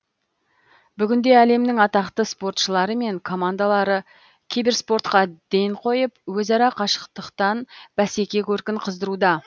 бүгінде әлемнің атақты спортшылары мен командалары киберспортқа ден қойып өзара қашықтан бәсеке көркін қыздыруда